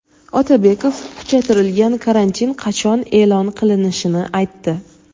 Otabekov kuchaytirilgan karantin qachon e’lon qilinishini aytdi.